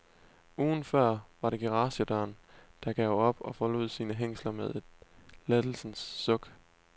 Ugen før var det garagedøren, der gav op og forlod sine hængsler med et lettelsens suk.